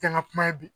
Kɛ n ka kuma ye bi